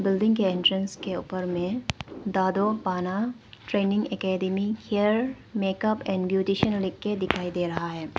Building entrance के ऊपर में दादू पाना training academy hair makeup and beautician लिख के दिखाई दे रहा है।